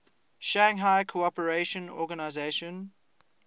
shanghai cooperation organization